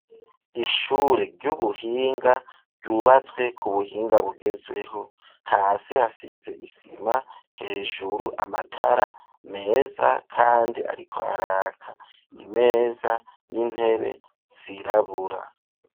Ishure ry'ubuhinga ryubatswe ku buhinga bugezweho hasi hasize isima hejuru amatara meza kandi ariko araka imeza n'intebe zirabura.